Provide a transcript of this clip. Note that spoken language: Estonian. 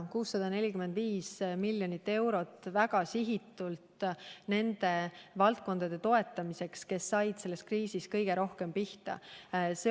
See sisaldas 645 miljonit eurot väga sihitult nende valdkondade toetamiseks, kes olid selles kriisis kõige rohkem pihta saanud.